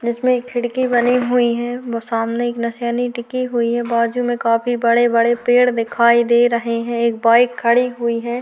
इसमें एक खिड़की बनी हुई है वो सामने एक निसैनी टिकी हुई है जो में काफी बड़े बड़े पेड़ दिखाई दे रहै हैं एक बाईक खड़ी हुई है।